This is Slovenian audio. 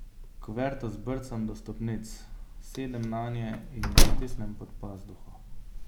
Kuverto zbrcam do stopnic, sedem nanje, in jo stisnem pod pazduho.